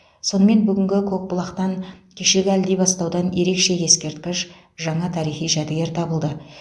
сонымен бүгінгі көкбұлақтан кешегі әлдибастаудан ерекше ескерткіш жаңа тарихи жәдігер табылды